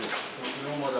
Götür normaldır.